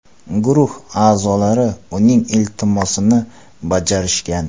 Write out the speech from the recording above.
Guruh a’zolari uning iltimosini bajarishgan.